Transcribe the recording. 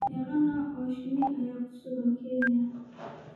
Meeqa nooc oo shinni ah ayaa ku sugan Kenya?